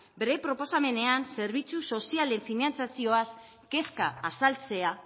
bere proposamenean zerbitzu sozialen finantzazioaz kezka azaltzea